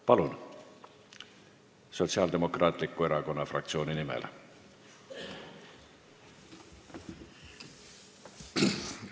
Palun, Sotsiaaldemokraatliku Erakonna fraktsiooni nimel!